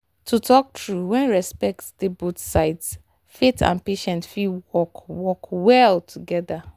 to talk true when respect dey both sides faith and medicine fit work work well together.